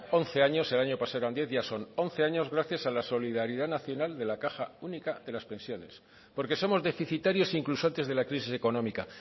once años el año pasado ya eran diez ya son once años gracias a la solidaridad nacional de la caja única de las pensiones porque somos deficitarios incluso antes de la crisis económica